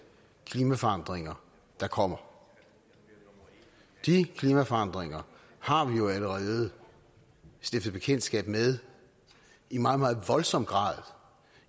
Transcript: klimaforandringer der kommer de klimaforandringer har vi jo allerede stiftet bekendtskab med i meget meget voldsom grad